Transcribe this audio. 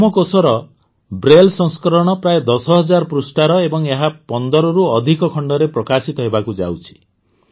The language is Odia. ହେମକୋଷର ବ୍ରେଲ୍ ସଂସ୍କରଣ ପ୍ରାୟ ୧୦ ହଜାର ପୃଷ୍ଠାର ଏବଂ ଏହା ୧୫ରୁ ଅଧିକ ଖଣ୍ଡରେ ପ୍ରକାଶିତ ହେବାକୁ ଯାଉଛି